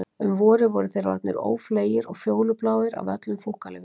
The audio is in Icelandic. Um vorið voru þeir orðnir ófleygir og fjólubláir af öllum fúkkalyfjunum.